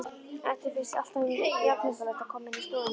Eddu finnst alltaf jafnnotalegt að koma inn í stofuna þeirra.